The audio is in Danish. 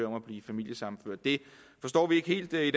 om at blive familiesammenført det forstår vi ikke helt i